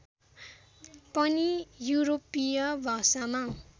पनि युरोपीय भाषामा